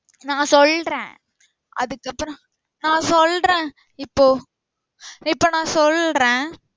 நா சொல்றேன் அதுக்கு அப்றோ நா சொல்றேன் இப்போ இப்போ நா சொல்றேன்